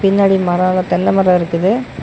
பின்னாடி மரம்லாம் தென்ன மரம் இருக்குது.